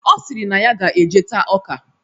Ọ sịrị na ya ga-eje taa ọka.